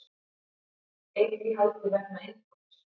Einn í haldi vegna innbrots